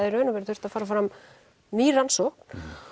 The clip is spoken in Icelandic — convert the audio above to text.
í raun og veru þurft að fara fram ný rannsókn